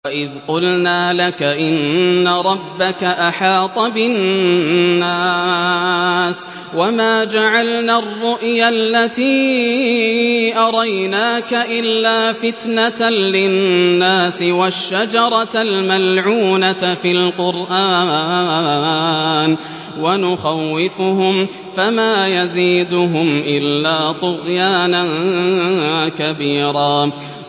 وَإِذْ قُلْنَا لَكَ إِنَّ رَبَّكَ أَحَاطَ بِالنَّاسِ ۚ وَمَا جَعَلْنَا الرُّؤْيَا الَّتِي أَرَيْنَاكَ إِلَّا فِتْنَةً لِّلنَّاسِ وَالشَّجَرَةَ الْمَلْعُونَةَ فِي الْقُرْآنِ ۚ وَنُخَوِّفُهُمْ فَمَا يَزِيدُهُمْ إِلَّا طُغْيَانًا كَبِيرًا